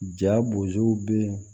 Ja bozow be ye